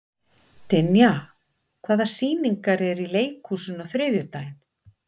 Dynja, hvaða sýningar eru í leikhúsinu á þriðjudaginn?